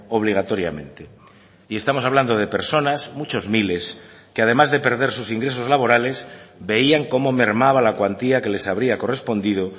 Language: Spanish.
obligatoriamente y estamos hablando de personas muchos miles que además de perder sus ingresos laborales veían cómo mermaba la cuantía que les habría correspondido